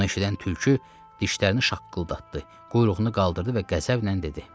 Bunu eşidən tülkü dişlərini şaqqıldatdı, quyruğunu qaldırdı və qəzəblə dedi: